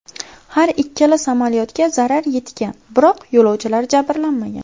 Har ikkala samolyotga zarar yetgan, biroq yo‘lovchilar jabrlanmagan.